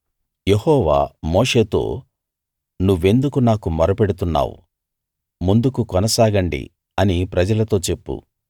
యెహోవా మోషేతో నువ్వెందుకు నాకు మొర పెడుతున్నావు ముందుకు కొనసాగండి అని ప్రజలతో చెప్పు